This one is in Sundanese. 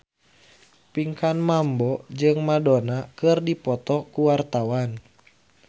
Pinkan Mambo jeung Madonna keur dipoto ku wartawan